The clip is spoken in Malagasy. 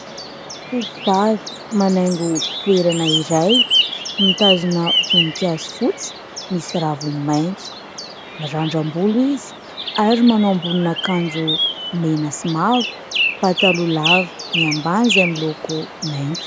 Tovovavy manaingo toerana iray, mitazona voninkazo fotsy misy raviny maitso mirandram-bolo izy ary manao ambonin' akanjo mena sy mavo, pataloha lava ny ambany izay miloko mainty.